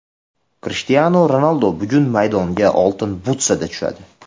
Krishtianu Ronaldu bugun maydonga Oltin butsada tushadi.